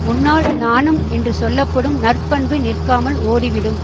முன்னால் நாணம் என்று சொல்ல படும் நற்பண்பு நிற்காமல் ஓடிவிடும்